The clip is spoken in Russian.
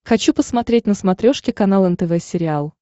хочу посмотреть на смотрешке канал нтв сериал